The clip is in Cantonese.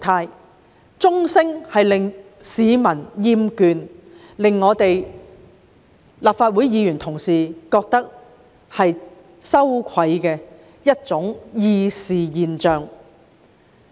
傳召鐘聲不但教市民厭倦，亦是令立法會議員感到羞愧的議事現象。